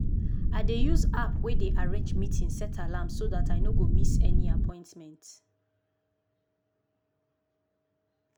i dey use app wey dey arrange meeting set alarm so dat i no go miss any appointment.